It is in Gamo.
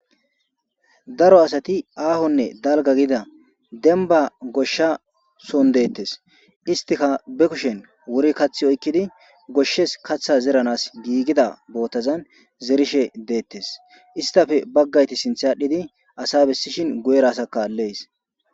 Daro asati aahonne dalga gida denba goshsha son deettes istika be kushen wuri kaththi oykkidi goshshes katha zeranas giigida bootazan zerishe deettes istafe baggayti sinthadhdhidi asa bessishin gu'erasaka lees